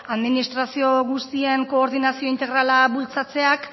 administrazio guztien koordinazio integrala bultzatzeak